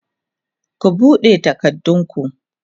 ku buɗe takardun ku!